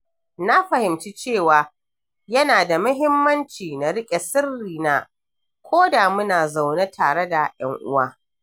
Na fahimci cewa yana da mahimmanci na riƙe sirrina, ko da muna zaune tare da 'yan uwa.